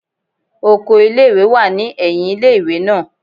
Okọ̀ ìlé-ìwé wa ni ẹhìn ìlé-ìwé naa